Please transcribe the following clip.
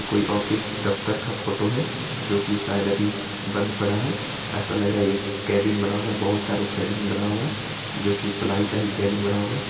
कोई ऑफिस दफ्तर का फोटो है जो के शायद अभी बंद पड़ा है| ऐसा लग रहा है एक कैबिन बना हुआ है बहुत सारे कैबिन बने हुए हैं जो के प्लाइ का ही कैबिन बना हुआ है ।